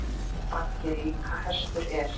Baggi líka hestur er.